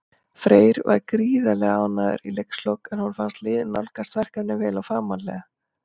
Freyr var gríðarlega ánægður í leikslok, en honum fannst liðið nálgast verkefnið vel og fagmannlega.